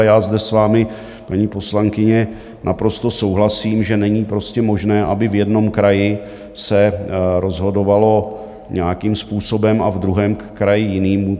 A já zde s vámi, paní poslankyně, naprosto souhlasím, že není prostě možné, aby v jednom kraji se rozhodovalo nějakým způsobem a v druhém kraji jiným.